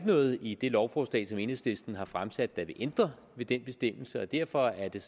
noget i det lovforslag som enhedslisten har fremsat der vil ændre ved den bestemmelse og derfor er det